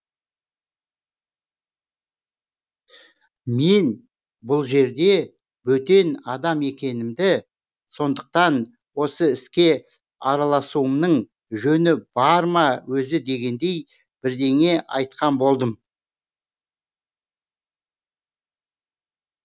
мен бұл жерде бөтен адам екенімді сондықтан осы іске араласуымның жөні бар ма өзі дегендей бірдеңе айтқан болдым